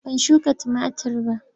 Ban shuka tumatir ba.